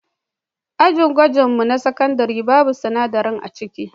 Ajin gwajin mu na sinadarai babu sinadarai aciki.